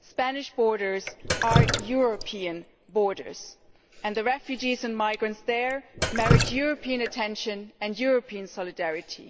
Spanish borders are European borders, and the refugees and migrants there merit European attention and European solidarity.